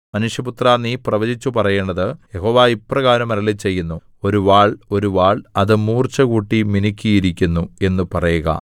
മനുഷ്യപുത്രാ നീ പ്രവചിച്ചു പറയേണ്ടത് യഹോവ ഇപ്രകാരം അരുളിച്ചെയ്യുന്നു ഒരു വാൾ ഒരു വാൾ അത് മൂർച്ചകൂട്ടി മിനുക്കിയിരിക്കുന്നു എന്ന് പറയുക